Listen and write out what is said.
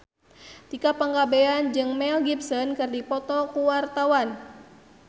Tika Pangabean jeung Mel Gibson keur dipoto ku wartawan